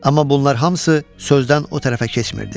Amma bunlar hamısı sözdən o tərəfə keçmirdi.